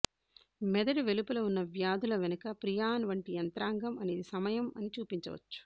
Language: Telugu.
మెదడు వెలుపల ఉన్న వ్యాధుల వెనుక ప్రియాన్ వంటి యంత్రాంగం అనేది సమయం అని చూపించవచ్చు